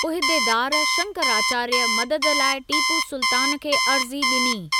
उहिदेदार शंकराचार्य, मदद लाइ टीपू सुल्तान खे अर्ज़ी ॾिनी।